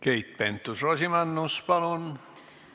Keit Pentus-Rosimannus, palun!